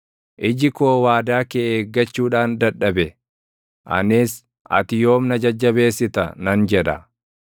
Iji koo waadaa kee eeggachuudhaan dadhabe; anis, “Ati yoom na jajjabeessita?” nan jedha.